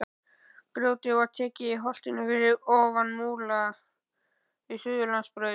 Grjótið var tekið í holtinu fyrir ofan Múla við Suðurlandsbraut.